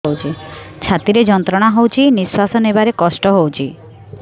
ଛାତି ରେ ଯନ୍ତ୍ରଣା ହଉଛି ନିଶ୍ୱାସ ନେବାରେ କଷ୍ଟ ହଉଛି